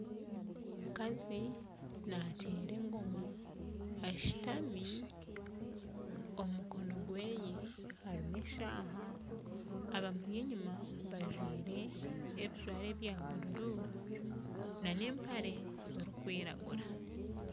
Omukazi nateera engoma ashutami omukono gwe harimu eshaaha abamuri enyuma bajwaire ebijwaro ebya bururu nana empare zirikwiragura